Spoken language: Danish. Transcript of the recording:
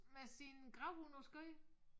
Med sin gravhund på skødet